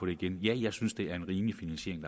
det igen ja jeg synes det er en rimelig finansiering